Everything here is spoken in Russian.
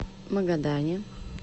магадане